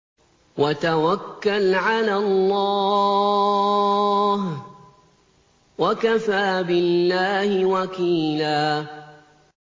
وَتَوَكَّلْ عَلَى اللَّهِ ۚ وَكَفَىٰ بِاللَّهِ وَكِيلًا